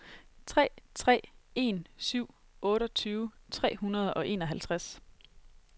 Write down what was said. tre tre en syv otteogtyve tre hundrede og enoghalvtreds